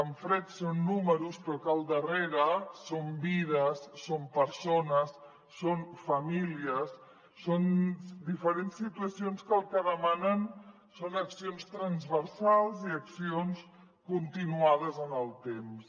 en fred són números però al darrere són vides són persones són famílies són diferents situacions que el que demanen són accions transversals i accions continuades en el temps